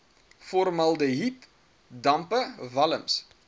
formaldehied dampe walms